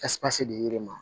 dir'i ma